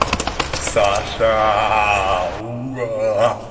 саша у